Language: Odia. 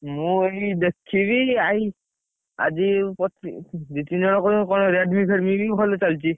ମୁଁ ଏଇ, ଦେଖିବି ଆଇ, ଆଜି କଣ Redmi ଫେଡ଼ମି ବି ଭଲ ଚାଲିଛି।